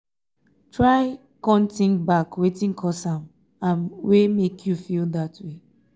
try con tink back wetin cause am am wey mek yu feel dat way